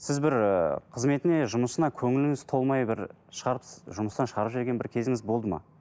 сіз бір ы қызметіне жұмысына көңіліңіз толмай бір жұмыстан шығарып жіберген бір кезіңіз болды ма